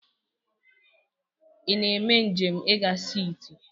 Ị na-eme njem i ga siti?